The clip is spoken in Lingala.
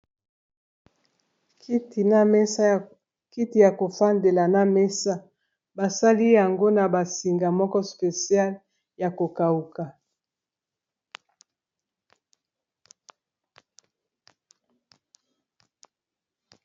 Kiti ya ko fandela na mesa basali yango na ba singa moko speciale ya ko kauka.